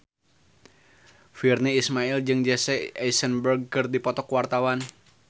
Virnie Ismail jeung Jesse Eisenberg keur dipoto ku wartawan